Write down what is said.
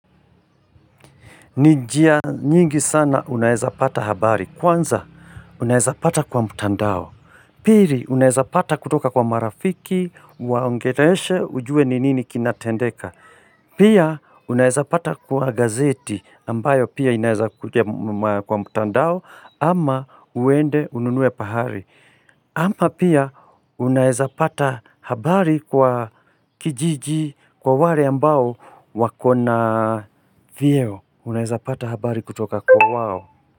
Ni njia nyingi sana unaeza pata habari kwanza unaeza pata kwa mtandao Piri unaeza pata kutoka kwa marafiki waongereshe ujue ni nini kinatendeka Pia unaeza pata kwa gazeti ambayo pia inaeza kuja kwa mtandao ama uende ununue pahari ama pia unaeza pata habari kwa kijiji kwa wale ambao wako na vyeo Unaeza pata habari kutoka kwa wao.